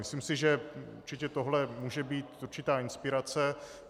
Myslím si, že určitě tohle může být určitá inspirace.